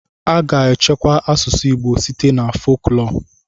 A ga-echekwa asụsụ Igbo site na foklọọ.